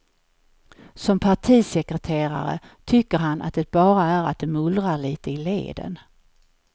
Som partisekreterare tycker han att det bara är att det mullrar litet i leden.